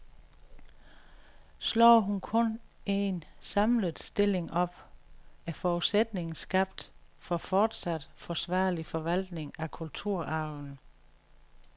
Slår hun kun en, samlet stilling op, er forudsætningen skabt for fortsat forsvarlig forvaltning af kulturarven.